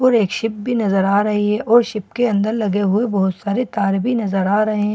और एक शिप भी नजर आ रही है और शिप के अंदर लगे हुए बहुत सारे तार भी नजर आ रहे हैं।